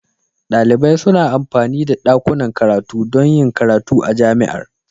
Dalibai suna amfani da dakunan karatu don yin karatu a Jami'ar.